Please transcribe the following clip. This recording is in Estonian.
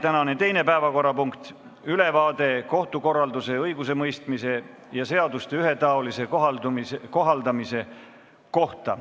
Tänane teine päevakorrapunkt on ülevaade kohtukorralduse, õigusemõistmise ja seaduste ühetaolise kohaldamise kohta.